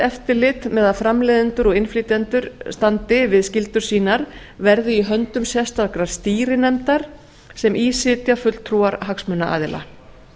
eftirlit með að framleiðendur og innflytjendur standi við skyldur sínar verði í höndum sérstakrar stýrinefndar sem í sitji fulltrúar hagsmunaaðila